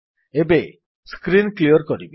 ଏବେ screen clear କରିବି